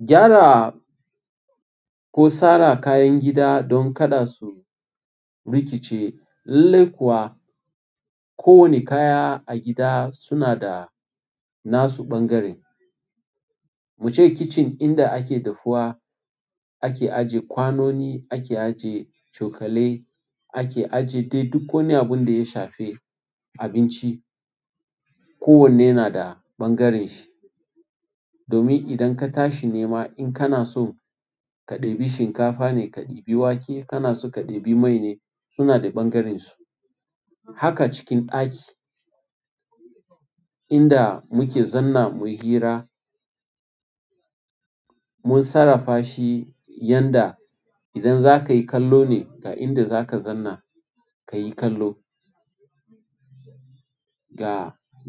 Gyara ko sara kayan gida don kada su rikice. Lallai kuwa kowane kaya a gida suna da nasu ɓangaren. Mu ce kicin inda ake dafuwa, ake ajiye kwanoni, ake ajiye cokalai, ake ajiye dai duk wani abun da ya shafe abinci. Ko wanne na da ɓangaren shi. Domin idan ka tashi nema in kana so ka ɗebi shinkafa ne, ka ɗebi wake, kana so ka ɗebi mai ne suna da ɓangarensu. Haka cikin ɗaki inda muke zanna, mun hira mun sarrafa shi yanda idan za ka yi kallo ne ga inda za ka zanna ka yi kallo. Ga